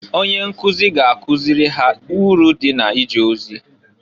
Onye nkụzị ga-akụzị ha iru dị na ije ozi.